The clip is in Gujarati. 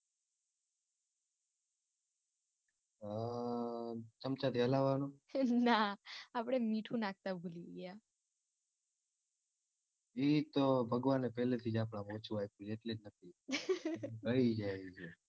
હ ચમચા થી હલાવાનું ગાય એતો ભગવાને પેલા જ થી આપડા માં ઓછું આપયું એટલે નથી રાય જાય.